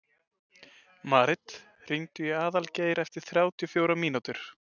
Marit, hringdu í Aðalgeir eftir þrjátíu og fjórar mínútur.